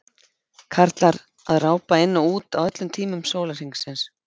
Karlar að rápa inn og út á öllum tímum sólarhrings.